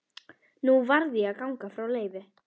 Nú varð ég að ganga frá Leifi.